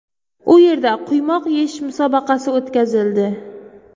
U yerda quymoq yeyish musobaqasi o‘tkazildi.